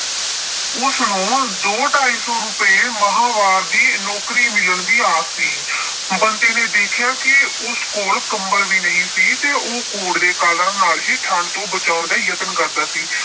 ਉਸਨੂੰ ਦੋ ਢਾਈ ਸੌ ਰੁਪਏ ਮਾਂਹਵਾਰ ਦੀ ਨੌਕਰੀ ਮਿਲਣ ਦੀ ਆਸ ਸੀ। ਬੰਤੇ ਨੇ ਦੇਖਿਆ ਕਿ ਉਸ ਕੋਲ ਕੰਬਲ ਵੀ ਨਹੀਂ ਸੀ ਅਤੇ ਉਹ ਕੋਟ ਦੇ ਕਾਲਰਾਂ ਨਾਲ ਹੀ ਠੰਢ ਤੋਂ ਬਚਾਉਣ ਦਾ ਯਤਨ ਕਰਦਾ ਸੀ।